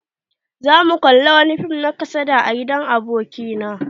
Za mu kalla wani fim na kasada a gidan aboki na.